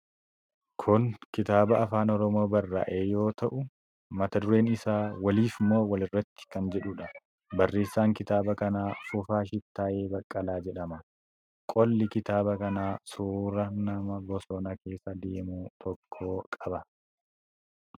Kun kitaaba Afaan Oromoon barraa'e yoo ta'u, Mata dureen isaa 'Waliiif Moo Walirratti' kan jedhuudha. barreessaan kitaaba kanaa Fufaa Shittaayee Baqqalaa jedhama. Qolli kitaaba kanaa suura nama bosona keessa deemu tokkoo qaba.